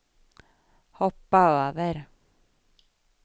hoppa över